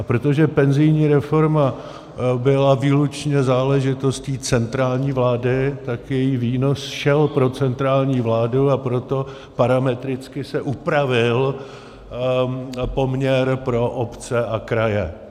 A protože penzijní reforma byla výlučně záležitostí centrální vlády, tak její výnos šel pro centrální vládu, a proto parametricky se upravil poměr pro obce a kraje.